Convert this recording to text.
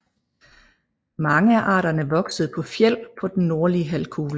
Mange af arterne vokser på fjeld på den nordlige halvkugle